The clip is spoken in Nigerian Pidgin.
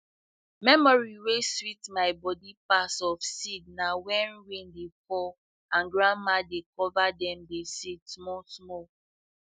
memory wey sweet my body pass of seed na when rain dey fall and grandma dey cover dem the seed small small